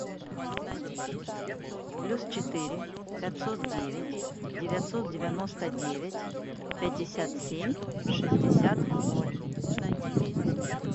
плюс четыре пятьсот девять девятьсот девяносто девять пятьдесят семь шестьдесят ноль